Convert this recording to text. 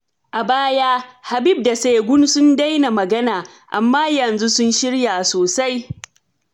A baya, Habib da Segun sun daina magana, amma yanzu sun shirya sosai.